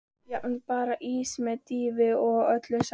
Jafnvel bara ís með dýfu og öllu saman.